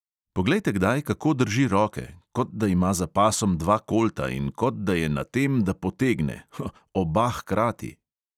Poglejte kdaj, kako drži roke – kot da ima za pasom dva kolta in kot da je na tem, da potegne, huh, oba hkrati.